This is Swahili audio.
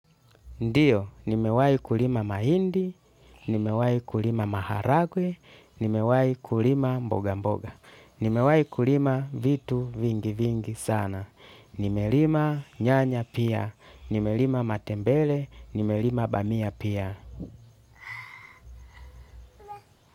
Ndio, nimewahi kulima mahindi, nimewahi kulima maharagwe, nimewahi kulima mboga mboga, nimewahi kulima vitu vingi vingi sana, nimelima nyanya pia, nimelima matembere, nimelima bamia pia.